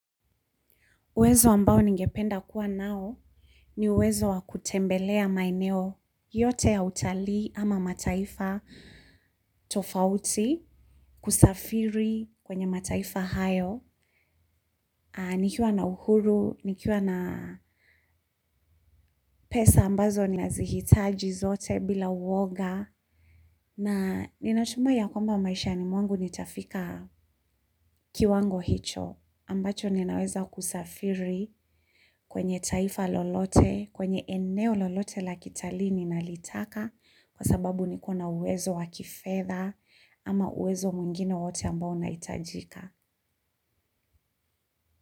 Uwezo ambao ningependa kuwa nao ni uwezo wa kutembelea maeneo yote ya utali ama mataifa tofauti kusafiri kwenye mataifa hayo. Nikiwa na uhuru, nikiwa na pesa ambazo ni nazihitaji zote bila uwoga na ninatumai ya kwamba maisha ni mwangu nitafika kiwango hicho ambacho ninaweza kusafiri kwenye taifa lolote, kwenye eneo lolote la kitali ninalitaka kwa sababu nikona uwezo wakifedha ama uwezo muingine wowote ambao unaitajika.